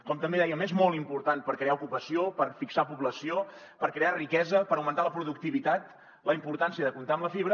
com també dèiem és molt important per crear ocupació per fixar població per crear riquesa per augmentar la productivitat la importància de comptar amb la fibra